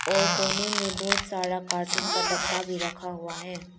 और कोने में बहुत सारा कार्टून का डब्बा भी रखा हुआ है।